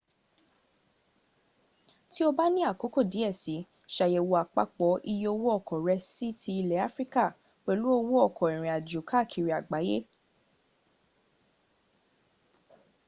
tí o bá ní àkókò díẹ̀ si ṣàyẹ̀wò àpapọ̀ iye owó ọkọ̀ rẹ sí ti ilẹ̀ africa pẹ̀lú owó ọkọ̀ ìrìn àjò káàkiri àgbáyé